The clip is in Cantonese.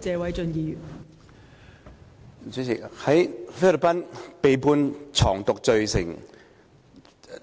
代理主席，在菲律賓被判藏毒罪成